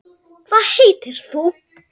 Hvað heitir hún?